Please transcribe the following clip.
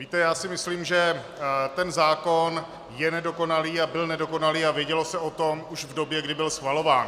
Víte, já si myslím, že ten zákon je nedokonalý a byl nedokonalý a vědělo se o tom už v době, kdy byl schvalován.